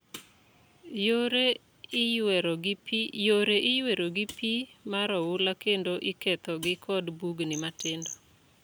Yore iywero gi pi mar oula kendo ikethogi kod bugni matindo.